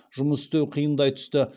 жұмыс істеу қиындай түсті